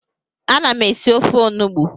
Ana m esi ofe onugbu